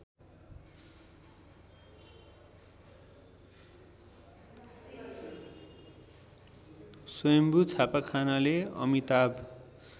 स्‍वयम्भू छापाखानाले अमिताभ